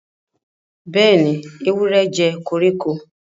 Béèni, ewúrẹ jé koríko.